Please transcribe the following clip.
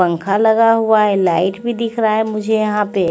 पंखा लगा हुआ है लाइट भी दिखरा है मुझे यहा पे--